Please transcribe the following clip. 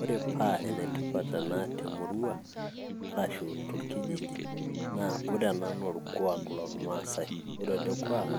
Ore pa enetipat ena temurua, arashu torkijiji, na ore ena na orkuak lormasai. Ore ele kuak,